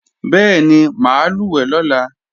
Bẹ́ẹ̀ni, mà á lùwẹ̀ lọ́la